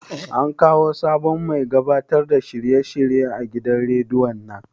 An kawo sabon mai gabatar da shirye shirye a gidan rediyon nan?